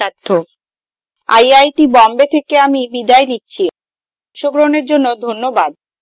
I I T Bombay থেকে আমি বিদায় নিচ্ছি অংশগ্রহনের জন্যে ধন্যবাদ